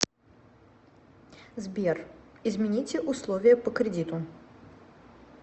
сбер измените условия по кредиту